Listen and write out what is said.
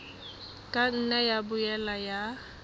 ka nna ya boela ya